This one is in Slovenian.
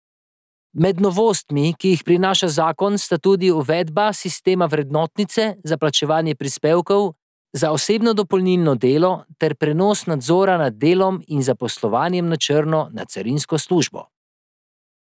Med novostmi, ki jih prinaša zakon, sta tudi uvedba sistema vrednotnice za plačevanje prispevkov za osebno dopolnilno delo ter prenos nadzora nad delom in zaposlovanjem na črno na carinsko službo.